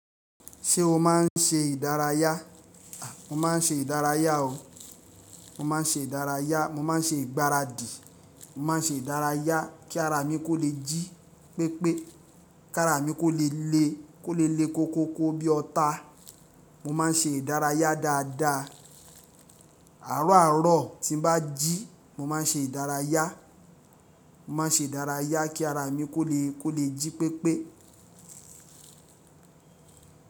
Ṣé o máa ń ṣe ìdárayá? A! Mo máa ń ṣe ìdárayá o. Mo máa ń ṣe ìdárayá, mo máa ń ṣe ìgbáradì, mo máa ń ṣe ìdárayá kí ara mi kó lè jí pépé, kí ara mi kó lè le, kó lè le koko kó bí ọta. Mo má n ṣe ìdárayá dáadáa. Àárọ̀ àárọ̀ tí n bá jí mo má n ṣe ìdárayá. Mo má n ṣe ìdárayá kí ara mi kó lè, kó lè jí pépé.